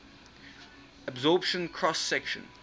absorption cross section